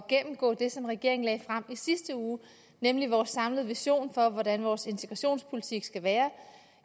gennemgå det som regeringen lagde frem i sidste uge nemlig vores samlede vision for hvordan vores integrationspolitik skal være